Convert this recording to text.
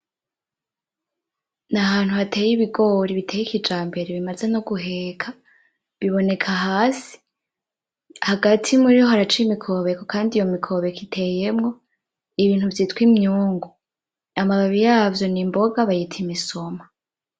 Nahantu hateye ibigori biteye kijambere bimaze no guheka biboneka ahantu hasi hagati muriho haraca imikobeko kandi iyo mikobeko iteyemwo ibintu vyitwa imyungu, amababi yavyo nimboga bayitwa imisoma.